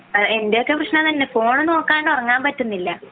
എന്റെയൊക്കെ പ്രശ്നം അതുതന്നെ ഫോൺ നോക്കാണ്ട് ഉറങ്ങാൻ പറ്റുന്നില്ല